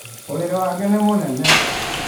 ũrĩrĩ wake nĩ mũnene.